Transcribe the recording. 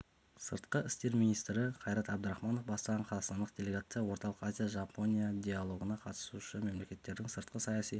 сыртқы істер министрі қайрат әбдірахманов бастаған қазақстандық делегация орталық азия жапония диалогына қатысушы мемлекеттердің сыртқы саяси